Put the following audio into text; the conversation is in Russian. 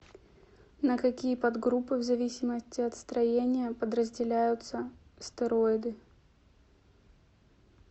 на какие подгруппы в зависимости от строения подразделяются стероиды